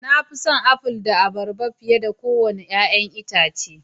Na fi son Aful da Abarba fiye da kowane 'ya'yan itace